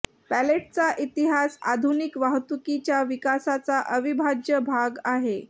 पॅलेटचा इतिहास आधुनिक वाहतुकीच्या विकासाचा अविभाज्य भाग आहे